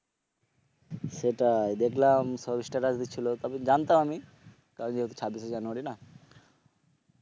সেটাই দেখলাম সব স্ট্যাটাস দিচ্ছিল তবে জানতাম আমি কারণ যেহেতু ছাব্বিশে জানুয়ারী না